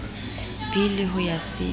b le ho ya c